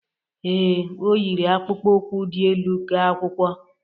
Ee, o yiri akpụkpọ ukwu dị elu ga akwụkwọ